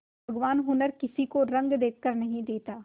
भगवान हुनर किसी को रंग देखकर नहीं देता